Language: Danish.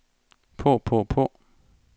på på på